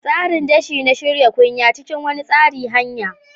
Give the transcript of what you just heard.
Tsarin dashi na-shirya kunya cikin wani tsari hanya.